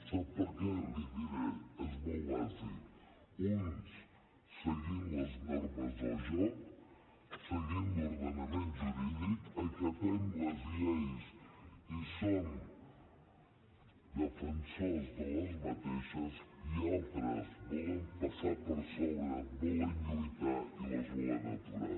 sap per què l’hi diré és molt bàsic uns seguint les normes del joc seguint l’ordenament jurídic acatem les lleis i en som defensors i altres volen passar hi per sobre volen lluitar i les volen aturar